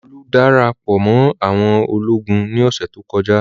Olú dára pọ̀ mọ́ àwọn ológun ní ọ̀sẹ̀ tó kọjá.